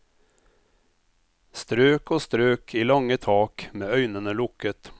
Strøk og strøk i lange tak med øynene lukket.